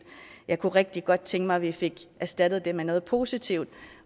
jeg kunne rigtig godt tænke mig at vi fik erstattet det med noget positivt